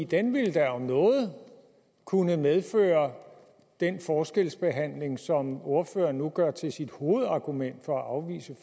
den ville da om noget kunne medføre den forskelsbehandling som ordføreren nu gør til sit hovedargument for at